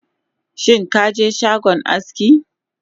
Shinkaje shagon aski?